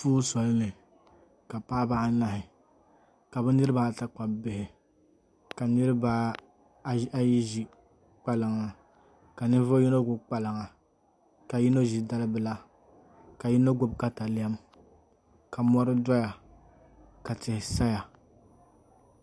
Puu soli ni ka paɣaba anahi ka bi niraba ata kpabi bihi ka niraba ayi ʒi kpalaŋa ka ninvuɣu yino gbubi kpalaŋa ka yino gbubi dalibila ka ninvuɣu yino gbubi katawiya ka mɔri ʒɛya ka tihi saya